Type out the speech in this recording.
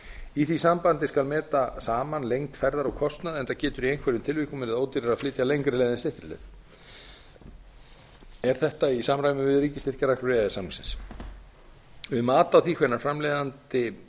í því sambandi skal meta saman lengd ferðar og kostnað enda getur í einhverjum tilvikum verið ódýrara að flytja lengri leið en styttri leið er þetta í samræmi við ríkisstyrkjareglur e e s samningsins um mat á því hvenær framleiðandi